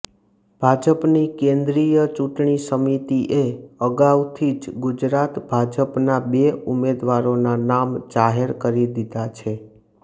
ભાજપની કેન્દ્રીય ચૂંટણી સમિતિએ અગાઉથી જ ગુજરાત ભાજપના બે ઉમેદવારોના નામ જાહેર કરી દીધા છે